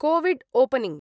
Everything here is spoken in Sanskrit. COVID opening